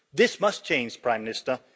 This must change, Prime Minister.